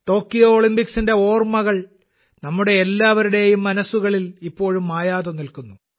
Tokyo ഒളിമ്പിക്സിന്റെ ഓർമ്മകൾ നമ്മുടെ എല്ലാവരുടെയും മനസ്സുകളിൽ ഇപ്പോഴും മായാതെ നിൽക്കുന്നു